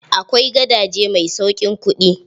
Akwai gadaje mai sauƙin kuɗi.